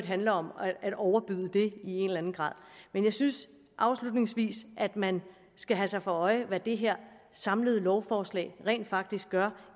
handler om at overbyde det i en eller anden grad jeg synes afslutningsvis at man skal holde sig for øje hvad det her samlede lovforslag rent faktisk gør